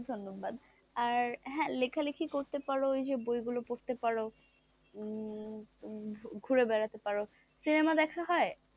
আর হ্যাঁ লেখালেখি করতে পারো, এই যে বইগুলো পড়তে পারো উম ঘুরে বেড়াতে পারো, সিনেমা দেখা হয়,